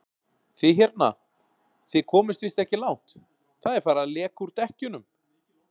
Þið hérna. þið komist víst ekki langt. það er farið að leka úr dekkjunum!